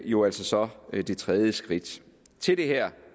jo altså så er det tredje skridt til det her